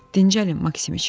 "Dincəlin, Maksimiç.